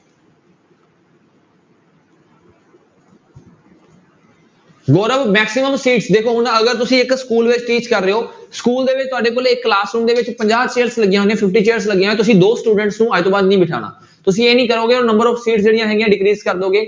Gaurav maximum seats ਦੇਖੋ ਹੁਣ ਅਗਰ ਤੁਸੀਂ ਇੱਕ school ਵਿੱਚ teach ਕਰ ਰਹੇ ਹੋ school ਦੇ ਵਿੱਚ ਤੁਹਾਡੇ ਕੋਲੇ ਇੱਕ class-room ਦੇ ਵਿੱਚ ਪੰਜਾਹ chairs ਲੱਗੀਆਂ ਹੋਈਆਂ ਨੇ fifty chairs ਲੱਗੀਆਂ, ਤੁਸੀਂ ਦੋ student ਨੂੰ ਅੱਜ ਤੋਂ ਬਾਅਦ ਨਹੀਂ ਬਿਠਾਉਣਾ, ਤੁਸੀਂ ਇਹ ਨੀ ਕਰੋਗੇ ਉਹ number of seats ਜਿਹੜੀਆਂ ਹੈਗੀਆਂ decrease ਕਰ ਦਓਗੇ।